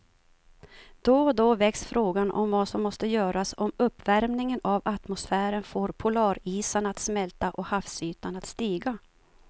Då och då väcks frågan om vad som måste göras om uppvärmingen av atmosfären får polarisarna att smälta och havsytan att stiga.